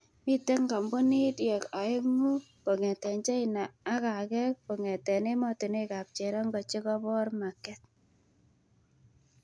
Mite kampunidiek aengu kongete China ak ake kongete ematunwek ab cherongo chekobor maket.